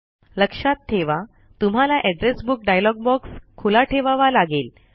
लक्षात ठेवा तुम्हाला एड्रेस बुक डायलॉग बॉक्स खुला ठेवावा लागेल